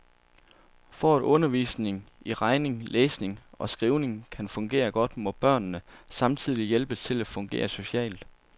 For at undervisningen i regning, læsning og skrivning kan fungere godt, må børnene samtidigt hjælpes til at fungere socialt.